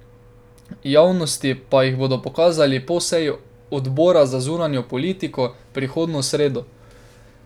Javnosti pa jih bodo pokazali po seji Odbora za zunanjo politiko, prihodnjo sredo.